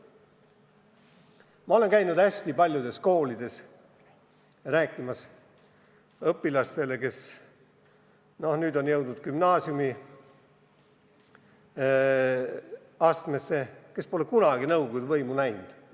Ma olen käinud hästi paljudes koolides rääkimas õpilastega, kes nüüd on jõudnud gümnaasiumiastmesse ja kes pole kunagi nõukogude võimu näinud.